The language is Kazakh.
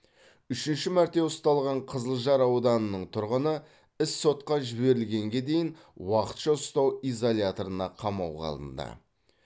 үшінші мәрте ұсталған қызылжар ауданының тұрғыны іс сотқа жіберілгенге дейін уақытша ұстау изоляторына қамауға алынды